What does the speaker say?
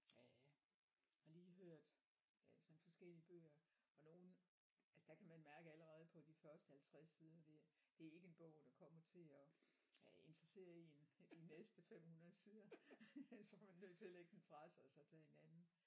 Ja har lige hørt øh sådan forskellige bøger og nogle altså der kan man mærke allerede på de første 50 sider der det er ikke en bog der kommer til at øh interessere én de næste 500 sider så er man nødt til at lægge den fra sig og så tage en anden